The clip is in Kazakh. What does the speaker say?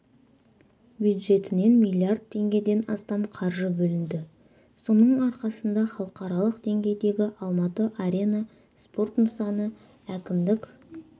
бюджетінен миллиард теңгеден астам қаржы бөлінді соның арқасында халықаралық деңгейдегі алматы арена спорт нысаны әкімдік